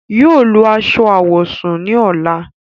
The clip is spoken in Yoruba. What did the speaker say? Yóò lọ aṣọ awọsún ni ọla.